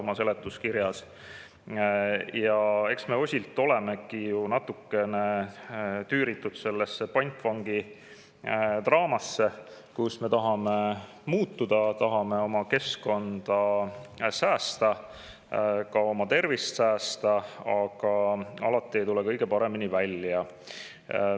Me osaliselt oleme ju tüüritud sellesse pantvangidraamasse, kus me tahame muutuda, tahame keskkonda säästa, ka oma tervist säästa, aga alati ei tule kõige paremini välja.